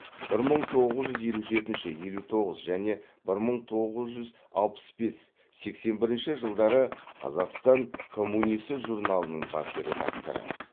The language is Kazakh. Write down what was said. бір мың тоғыз жүз елу жетінші елу тоғыз және бір мың тоғыз жүз алпыс бес сексен бірінші жылдары қазақстан коммунисі журналының бас редакторы